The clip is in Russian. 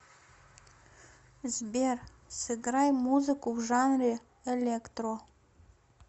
сбер сыграй музыку в жанре электро